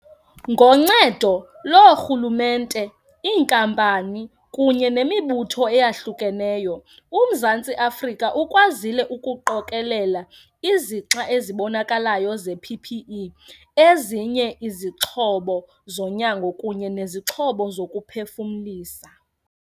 Ngoncedo loorhulumente, iinkampani kunye nemibutho eyahlukeneyo, uMzantsi Afrika ukwazile ukuqokelela izixa ezibonakalayo ze-PPE, ezinye izixhobo zonyango kunye nezixhobo zokuphefumlisa.